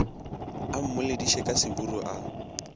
a mmolediše ka seburu a